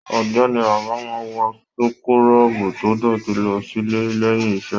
Ọ̀gbẹ́ni Bada máa n wọ súkúrọbuù to dótì lọ sílé lẹyìn iṣẹ.